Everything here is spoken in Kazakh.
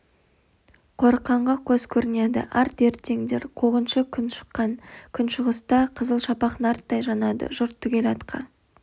қорыққанға қос көрінеді ат ерттеңдер қуғыншы күн шыққан күншығыста қызыл шапақ нарттай жанады жұрт түгел атқа